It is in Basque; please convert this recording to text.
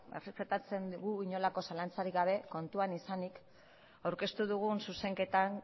errespetatzen gu inolako zalantzarik gabe kontuan izanik aurkeztu dugun zuzenketan